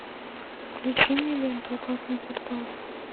включи мне ленту опасный квартал